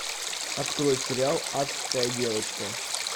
открой сериал адская девочка